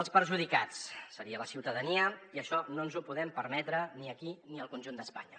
el perjudicat seria la ciutadania i això no ens ho podem permetre ni aquí ni al conjunt d’espanya